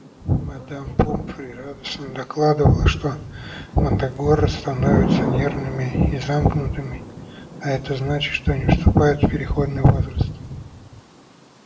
мадам помфри радостно докладывала что мандрагоры становятся нервными и замкнутыми а это значит что они вступают в переходный возраст